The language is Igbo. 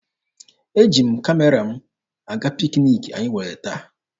Eji m Kamera m aga pikiniki anyị nwere taa.